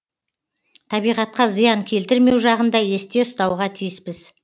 табиғатқа зиян келтірмеу жағын да есте ұстауға тиіспіз